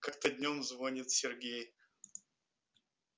как-то днём звонит сергей